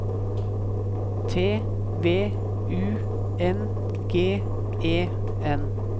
T V U N G E N